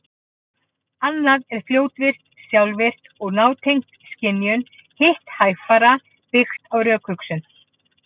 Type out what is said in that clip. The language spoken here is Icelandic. Annað er fljótvirkt, sjálfvirkt og nátengt skynjun, hitt hægfara, byggt á rökhugsun.